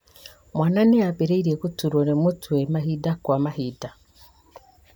Mwana nĩambĩrĩirie gũturwo nĩ mũtwe mahinda kwa mahinda